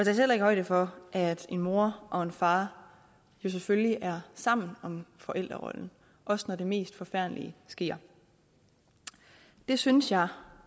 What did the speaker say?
heller ikke højde for at en mor og en far jo selvfølgelig er sammen om forældrerollen også når det mest forfærdelige sker det synes jeg